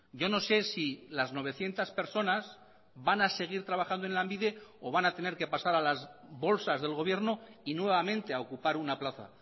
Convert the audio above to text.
yo no sé si las novecientos personas van a seguir trabajando en lanbide o van a tener que pasar a las bolsas del gobierno y nuevamente a ocupar una plaza